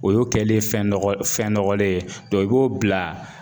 O y'o kɛlen fɛn nɔgɔ fɛn nɔgɔlen ye dɔ i b'o bila